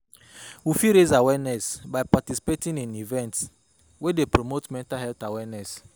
We fit raise awareness by participating in events wey dey promote mental health awareness